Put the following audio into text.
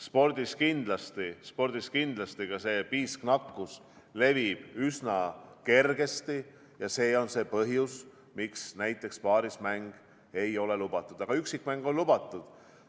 Spordis levib ka piisknakkus üsna kergesti ja see ongi põhjus, miks näiteks paarismäng ei ole lubatud, aga üksikmäng on lubatud.